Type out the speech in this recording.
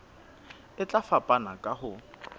e tla fapana ka ho